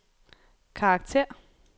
karakter